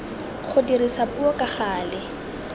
go dirisa puo ka gale